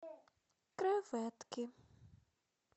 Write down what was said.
креветки